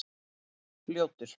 Ljótur